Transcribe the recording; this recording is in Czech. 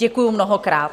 Děkuji mnohokrát.